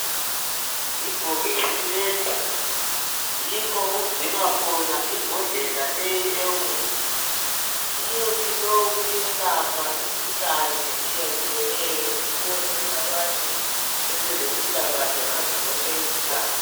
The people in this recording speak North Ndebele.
Ibhokisi leli yikho okugcinwa khona imbodlela leyi eyomuthi. Umuthi lowu uyelapha imikhuhlane etshiyatshiyeneyo ukuzecabantu babelempilakahle ngazozonke izikhathi.